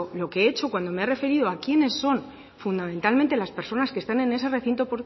lo que he hecho cuando me ha referido a quiénes son fundamentalmente las personas que están en ese recinto